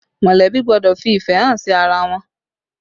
Molebi gbọ́dọ̀ fi ìfẹ́ hàn sí ara wọn